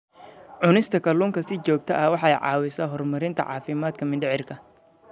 Cunista kalluunka si joogto ah waxay caawisaa horumarinta caafimaadka mindhicirka.